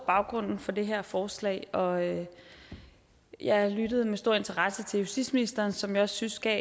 baggrunden for det her forslag og jeg lyttede med stor interesse til justitsministeren som jeg synes gav